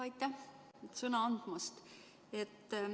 Aitäh sõna andmast!